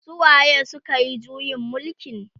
su waye sukayi juyin mulkin?